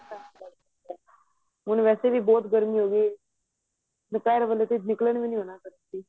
ਹੁਣ ਵੈਸੇ ਵੀ ਬਹੁਤ ਗਰਮੀ ਹੋ ਗਈ ਦੁਪਹਿਰ ਵੇਲੇ ਤਾਂ ਨਿਕਲਣ ਵੀ ਨਹੀਂ ਹੋਣਾ